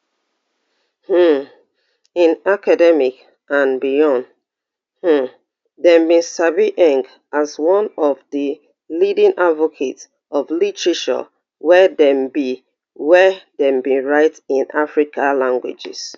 um in academic and beyond um dem bin sabi as one of di leading advocates of literature wey dem bi wey dem bi write in african languages